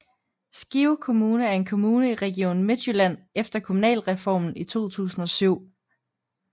Skive Kommune er en kommune i Region Midtjylland efter Kommunalreformen i 2007